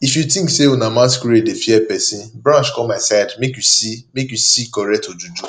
if you think say una masquerade dey fear person branch come my side make you see make you see correct ojuju